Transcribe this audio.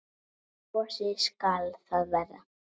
Gosi skal það vera.